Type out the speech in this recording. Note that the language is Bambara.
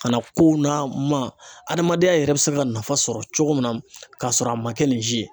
A na kow na ma , adamadenya yɛrɛ bɛ se ka nafa sɔrɔ cogo min na k'a sɔrɔ a ma kɛ ni si ye.